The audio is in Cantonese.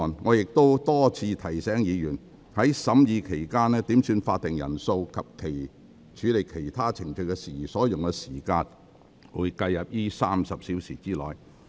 我亦已多次提醒議員，在審議期間，點算法定人數及處理其他程序事宜所用的時間會計入該30小時之內。